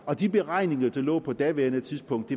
og de beregninger der lå på daværende tidspunkt